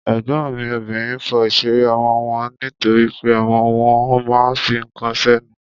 Ègbọ́n mi obìnrin fọ ìṣeré ọmọ wọn nítorípé ọmọ wọn ma ń fi ǹkan sẹ́nu.